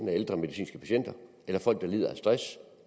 er ældre medicinske patienter eller folk der lider af stress